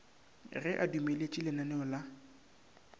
ge a dumeletše lananeo la